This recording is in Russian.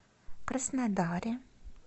краснодаре